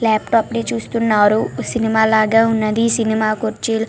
laptop ని చూస్తున్నారు cinema లాగా వున్నది సినిమా కుర్చీలో --